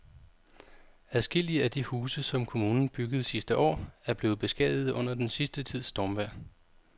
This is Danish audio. Adskillige af de huse, som kommunen byggede sidste år, er blevet beskadiget under den sidste tids stormvejr.